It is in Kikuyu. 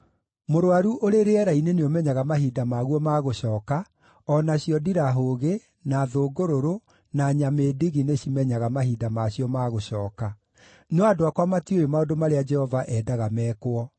Mũrũaru ũrĩ rĩera-inĩ nĩũmenyaga mahinda maguo ma gũcooka, o nacio ndirahũgĩ, na thũngũrũrũ, na nyamĩndigi nĩcimenyaga mahinda ma cio ma gũcooka. No andũ akwa matiũĩ maũndũ marĩa Jehova endaga mekwo.